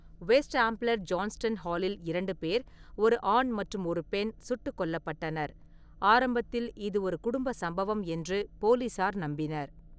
West Ambler Johnston ஹாலில் இரண்டு பேர், ஒரு ஆண் மற்றும் ஒரு பெண் சுட்டுக் கொல்லப்பட்டனர், ஆரம்பத்தில் இது ஒரு குடும்ப சம்பவம் என்று போலீசார் நம்பினர்.